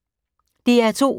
DR2